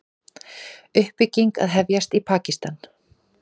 Uppbygging að hefjast í Pakistan